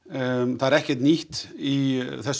það er ekkert nýtt í þessu